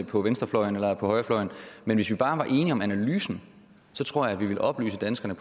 på venstrefløjen og højrefløjen men hvis vi bare var enige om analysen tror jeg vi ville oplyse danskerne